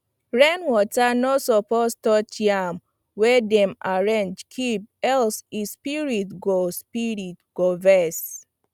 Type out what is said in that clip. rainwater no suppose touch yam wey dem arrange keep else e spirit go spirit go vex